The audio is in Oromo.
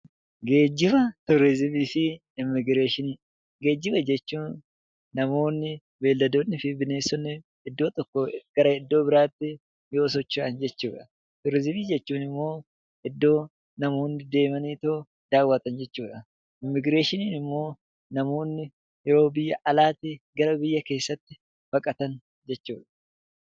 Geejiba turizimii fi immigireeshinii Geejiba jechuun namoonni, beeyiladoonni fi bineensonni iddoo tokkoo gara iddoo biraa yoo socho'an jechuudha. Turizimii jechuun iddoo namoonni deemanii daawwatan jechuudha. Immigireeshiniin immoo namoonni yoo biyya alaatii gara keessaatti baqatan jechuudha.